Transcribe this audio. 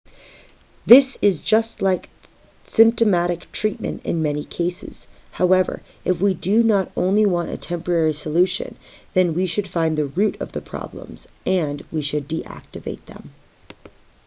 this is just like symptomatic treatment in many cases however if we do not only want a temporary solution then we should find the root of the problems and we should deactivate them